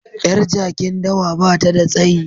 Yar jakin dawa ba ta da tsayi